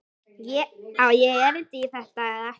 Á ég erindi í þetta eða ekki?